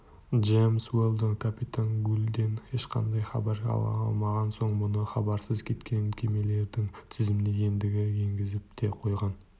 джемс уэлдон капитан гульден ешқандай хабар ала алмаған соң мұны хабарсыз кеткен кемелердің тізіміне ендігі енгізіп те қойған